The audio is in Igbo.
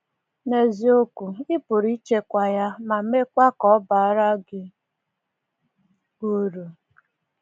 N’eziokwu, ị pụrụ ịchịkwa ya, ma mekwaa ka ọ baara gị uru.